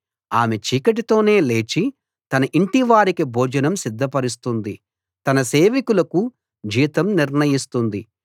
ఆమె చీకటితోనే లేచి తన యింటి వారికి భోజనం సిద్ధపరుస్తుంది తన సేవికలకు జీతం నిర్ణయిస్తుంది